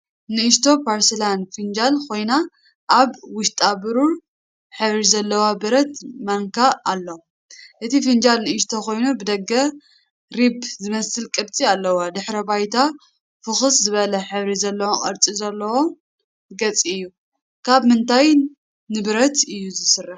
ንእሽቶ ፖርስላን ፊንጃል ኮይና፡ ኣብ ውሽጣ ብሩር ሕብሪ ዘለዎ ብረት ማንካ ኣሎ። እቲ ፊንጃል ንእሽቶ ኮይኑ ብደገ ሪብ ዝመስል ቅርጺ ኣለዎ። ድሕረ ባይታ ፍኹስ ዝበለ ሕብሪ ዘለዎን ቅርጺ ዘለዎን ገጽ እዩ። ካብ ምንታይ ንብረት እዩ ዝስራሕ?